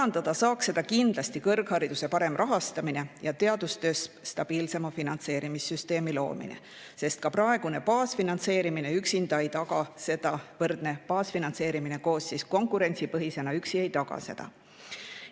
Seda saaks kindlasti parandada kõrghariduse parema rahastamise ja teadustöös stabiilsema finantseerimissüsteemi loomise kaudu, sest ka praegune baasfinantseerimine üksinda ei taga seda, võrdne baasfinantseerimine koos konkurentsipõhisega ei taga seda.